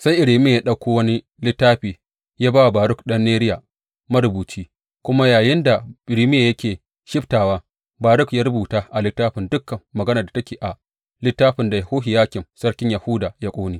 Sai Irmiya ta ɗauko wani littafi ya ba wa Baruk ɗan Neriya marubuci, kuma yayinda Irmiya yake shibtawa, Baruk ya rubuta a littafin dukan maganar da take a littafin da Yehohiyakim sarkin Yahuda ya ƙone.